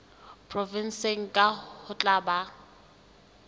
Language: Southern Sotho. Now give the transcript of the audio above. provenseng kang ho tla ba